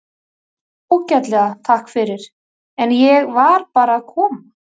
Bara ágætlega, takk fyrir, en ég var bara að koma.